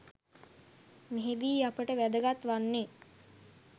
මෙහිදී අපට වැදගත් වන්නේ